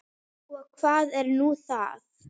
Og hvað er nú það?